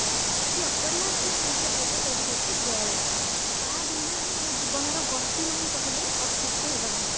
ଅତି ଅପରିହାର୍ଯ୍ୟ ଜିନିଷ ଯୋଉଟା ସେଇଟା ହେଉଛି ଜଳ, ତା ବିନା ଆମ ଜୀବନର ଗତି ନାହିଁ କହିଲେ ଅତୁକ୍ତି ହେବ ନାହି